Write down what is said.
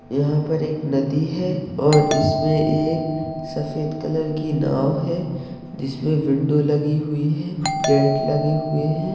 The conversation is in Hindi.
यहां पर एक नदी है और इसमें एक सफ़ेद कलर कि नाव है जिसमे विंडो लगी हुई है गेट लगे हुए हैं।